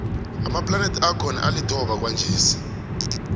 amaplanethi akhona alithoba kwanjesi